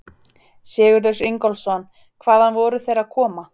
Sigurður Ingólfsson: Hvaðan voru þeir að koma?